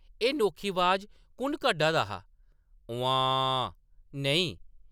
एह्‌‌ नोखी अवाज कु’न कड्ढा दा हा ? ‘उम्म्मांऽऽ’ नेईं ।